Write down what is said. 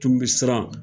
Tun bɛ siran